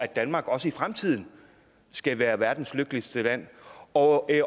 danmark også i fremtiden skal være verdens lykkeligste land og